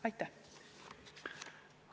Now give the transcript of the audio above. Aitäh!